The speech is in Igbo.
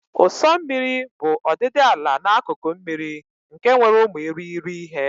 Ụ̀sọ̀ osimiri bụ ọdịdị ala n'akụkụ mmiri nke nwere ụmụ irighiri ihe.